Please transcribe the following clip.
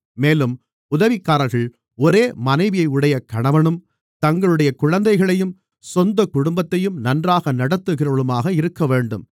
மேலும் உதவிக்காரர்கள் ஒரே மனைவியையுடைய கணவனும் தங்களுடைய குழந்தைகளையும் சொந்தக் குடும்பத்தையும் நன்றாக நடத்துகிறவர்களுமாக இருக்கவேண்டும்